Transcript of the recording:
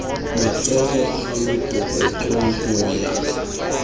matshoho ka mokokotlong ho ya